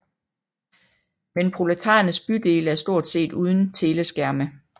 Men proletarernes bydele er stort set uden teleskærme